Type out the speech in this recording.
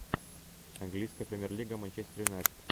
английская премьер лига манчестер юнайтед